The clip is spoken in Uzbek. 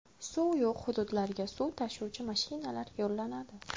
Suv yo‘q hududlarga suv tashuvchi mashinalar yo‘llanadi.